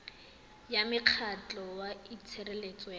ya mokgatlho wa tshireletso ya